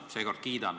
Seekord kiidan.